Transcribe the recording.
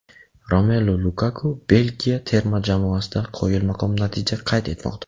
Romelu Lukaku Belgiya terma jamoasida qoyilmaqom natija qayd etmoqda.